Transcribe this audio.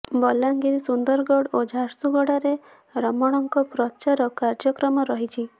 ବଲାଙ୍ଗିର ସୁନ୍ଦରଗଡ ଓ ଝାରସୁଗୁଡାରେ ରମଣଙ୍କ ପ୍ରଚାର କାର୍ଯ୍ୟକ୍ରମ ରହିଛି